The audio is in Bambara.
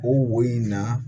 O wo in na